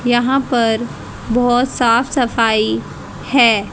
यहां पर बहोत साफ सफाई है।